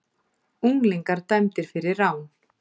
Unglingar dæmdir fyrir rán